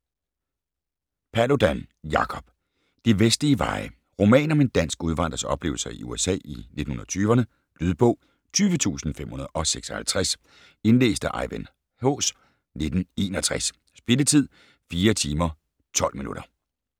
Paludan, Jacob: De vestlige veje Roman om en dansk udvandrers oplevelser i USA i 1920'rne. Lydbog 20556 Indlæst af Ejvind Haas, 1961. Spilletid: 4 timer, 12 minutter.